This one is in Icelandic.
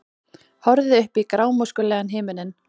Horfði upp í grámóskulegan himininn.